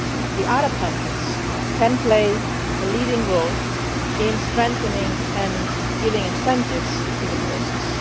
The Arab countries can play a leading role in strengthening and giving incentives to the